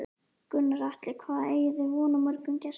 Gunnar Atli: Hvað eigið þið von á mörgum gestum?